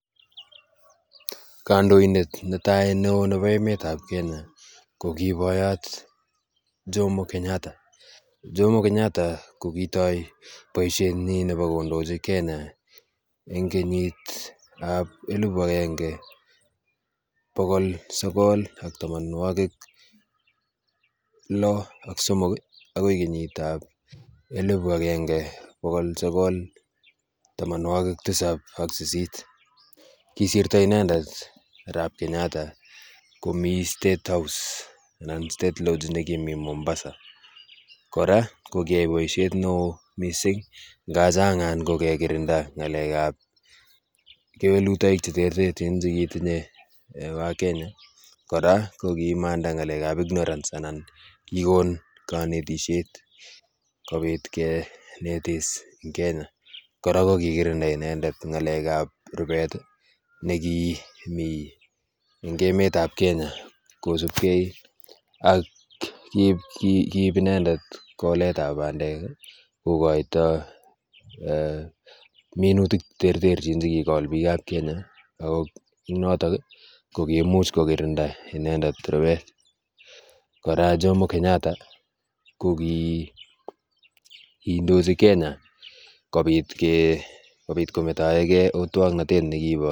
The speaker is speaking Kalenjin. Kandoindet netai neo nebo emetab kenya koki boyot jomo kenyatta. Jomo kenyatta kokitoi boisioetnyi nebokondoji kenya eng kenyitab elbu agenge bokol sogol ak tamanwokik lo ak somok akoi kenyitab elibu akenge bokol sogol tamanwakik tisap ak sisit kisirto inendet arap kenyatta komii state house anan state lodge nekimi mombasa kora kokiai boisiet neo mising ngaachangan kokekirinda ngalekab kewelutoik che terterchin chekitinye wakenya kora kokimanda ngalekab ignorance anan kiikon kanetisiet kobit kinetis ing kenya kora kokikirinda inendet ngalekab rubet nekimi eng emetab kenya kosubkei ak kiib kiib inendet koletab bandek kokoito minutik cheterterchin chekikol bikap kenya ako ing notok kokimuch kokirinda inendet rubet kora jomo kenyatta kokiindoji kenya kobit kometoegei otwoknotet nekibo